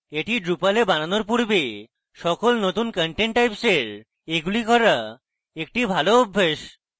এটি drupal a বানানোর পূর্বে সকল নতুন content types এর জন্য এগুলি করা একটি ভাল অভ্যাস